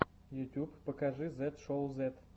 ютуб покажи зет шоу зет